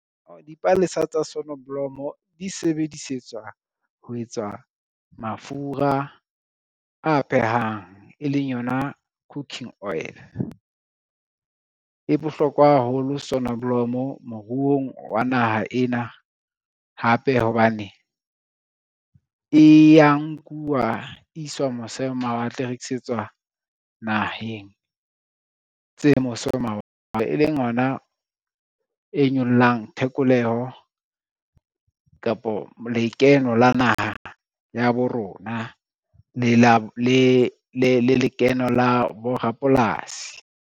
Dipalesa tsa sonoblomo di sebedisetswa ho etsa mafura a phehang, e leng yona cooking oil. E bohlokwa haholo sonoblomo moruong wa naha ena hape hobane, e ya nkuwa iswa mose ho mawatle e rekisetswa naheng tse mose ho mawatle. E leng ona e nyollang thekoleho kapo lekeno la naha ya bo rona le lekeno la borapolasi.